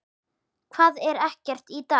Hvað, er ekkert í dag?